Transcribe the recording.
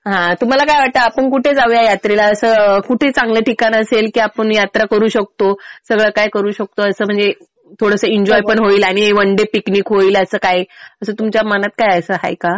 हा तुम्हाला काय वाटतं आपण कुठे जाऊया यात्रेला? असं कुठे चांगलं ठिकाण असेल कि आपण यात्रा करू शकतो. सगळं काय करू शकतो असं म्हणजे थोडंसं एन्जॉय पण होईल आणि वन डे पिकनिक पण होईल असं काही. असं तुमच्या मनात काही आहे का?